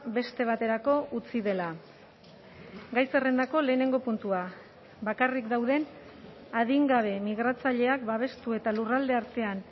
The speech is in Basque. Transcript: beste baterako utzi dela gai zerrendako lehenengo puntua bakarrik dauden adingabe migratzaileak babestu eta lurralde artean